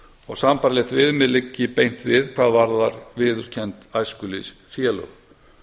og sambærilegt viðmið liggi beint við hvað varðar viðurkennd æskulýðsfélög